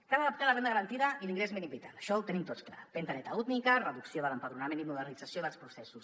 cal adaptar la renda garantida i l’ingrés mínim vital això ho tenim tots clar finestreta única reducció de l’empadronament i modernització dels processos